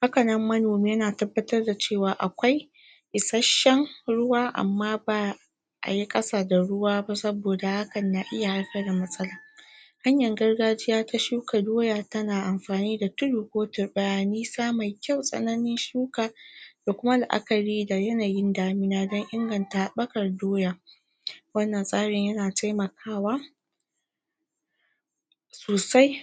hakanan manomi yana tabbatar da cewa akwai isasshen ruwa amma ba ayi ƙasa da ruwa ba saboda hakan na iya haifar da matsala hanyar gargajiya ta shuka doya tana anfani da tudu ko turɓaya nisa mai kyau tsakanin shuka da Kuma laʼakari da yanayin damina don inganta haɓɓakar doya wannan tsarin yana taimakawa sosai